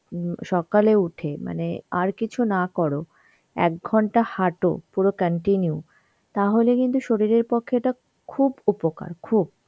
উম সকালে উঠে মানে আর কিছু না করো, এক ঘন্টা হাটো পুরো continue, তাহলে কিন্তু শরীরের পক্ষে এটা খুব উপকার খুব.